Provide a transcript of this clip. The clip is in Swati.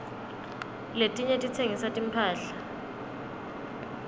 letinye titsengisa timphahla